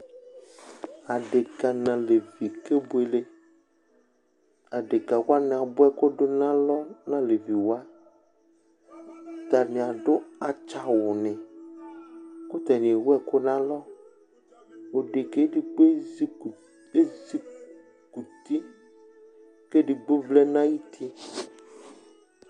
Aɖeka ŋu alevi ni kebʋele Aɖeka abʋa ɛku ɖu ŋu alɔ ŋu aleviwa Ataŋi aɖu atsã awu ni kʋ ataŋi ɛwu ɛku ŋu alɔ Ɖekaɛ ɛɖigbo ezikʋti kʋ ɛɖigbo vlɛ ŋu ayuti